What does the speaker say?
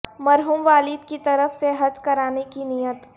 مرحوم والد کی طرف سے حج کرانے کی نیت